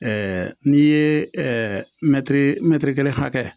n'i ye mɛtiri mɛtiri kelen hakɛ